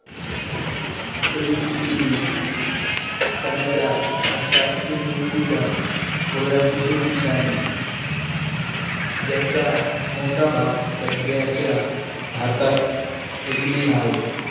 सव्वीस पूर्वी सनाच्या आसपास सिंधू नदीच्या खोऱ्यात विकसित झाले, ज्याचा मोठा भाग सध्याच्या भारतात अजूनही हाय.